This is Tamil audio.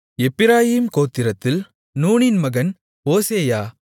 எப்பிராயீம் கோத்திரத்தில் நூனின் மகன் ஓசேயா